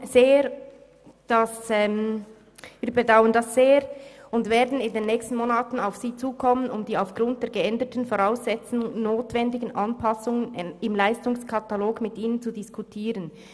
«Wir bedauern das sehr und werden in den nächsten Monaten auf Sie zukommen, um die aufgrund der geänderten Voraussetzungen notwendigen Anpassungen im Leistungskatalog mit Ihnen zu diskutieren.